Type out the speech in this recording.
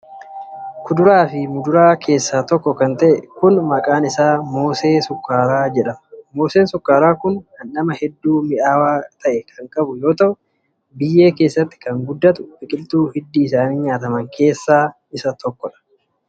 Kuduraa fi muduraa keessaa tokko kan ta'e kun, maqaan isaa moosee sukkaaraa jedhama. Mooseen sukkaaraa kun dhandhama hedduu mi'aawaa ta'e kan qabu yoo ta'u, biyyee keessatti kan guddatu biqiltuu hiddi isaanii nyaataman keessaa isa tokko.